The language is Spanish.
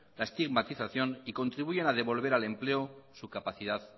la estigmatización y contribuyen a devolver al empleo su capacidad